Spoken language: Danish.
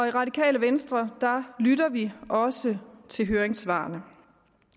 i radikale venstre lytter vi også til høringssvarene